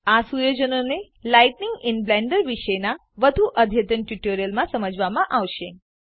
આ સુયોજનોને lighting in Blender બ્લેન્ડરમાં પ્રકાશ વિશેનાં વધુ અદ્યતન ટ્યુટોરીયલોમાં સમજાવામાં આવશે